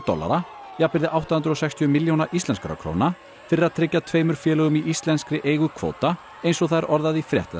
dollara jafnvirði átta hundruð og sextíu milljóna íslenskra króna fyrir að tryggja tveimur félögum í íslenskri eigu kvóta eins og það er orðað í frétt